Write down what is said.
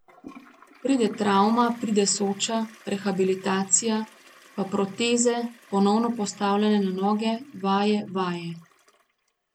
Pride travma, pride Soča, rehabilitacija, pa proteze, ponovno postavljanje na noge, vaje, vaje.